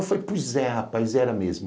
Eu falei, pois é, rapaz, era mesmo.